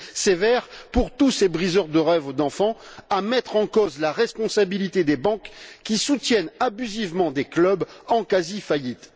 sévères pour tous ces briseurs de rêve d'enfants et mettre en cause la responsabilité des banques, qui soutiennent abusivement des clubs en quasi faillite.